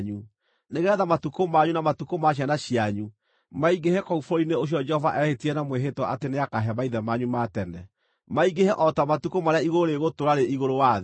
nĩgeetha matukũ manyu na matukũ ma ciana cianyu maingĩhe kũu bũrũri-inĩ ũcio Jehova eehĩtire na mwĩhĩtwa atĩ nĩakahe maithe manyu ma tene; maingĩhe o ta matukũ marĩa igũrũ rĩgũtũũra rĩ igũrũ wa thĩ.